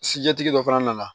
Sijɛtigi dɔ fana nana